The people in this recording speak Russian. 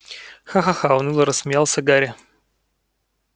ха-ха-ха уныло рассмеялся гарри